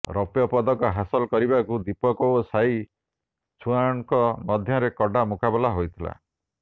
ରୌପ୍ୟ ପଦକ ହାସଲ କରିବାକୁ ଦୀପକ ଓ ସାଇ ଚୁଆନ୍ଙ୍କ ମଧ୍ୟରେ କଡ଼ା ମୁକାବିଲା ହୋଇଥିଲା